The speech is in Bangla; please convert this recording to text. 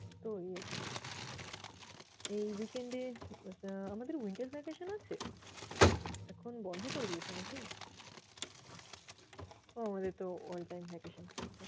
তো ওই আরকি। এই weekend এ আহ আমাদের winter vacation আছে? এখন বন্ধ করে দিয়েছে নাকি? ওহ! আমাদের তো all time vacation চলছে।